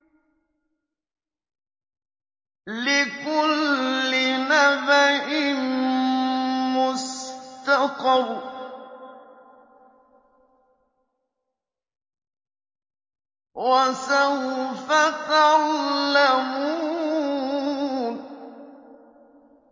لِّكُلِّ نَبَإٍ مُّسْتَقَرٌّ ۚ وَسَوْفَ تَعْلَمُونَ